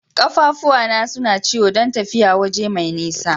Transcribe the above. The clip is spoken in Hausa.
Kaffafuwa na suna ciwo dan tafiya waje mai nisa.